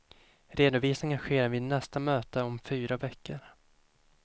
Redovisningen sker vid nästa möte om fyra veckor.